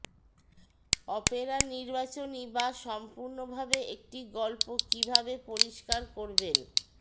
Opera নির্বাচনী বা সম্পূর্ণভাবে একটি গল্প কিভাবে পরিষ্কার করবেন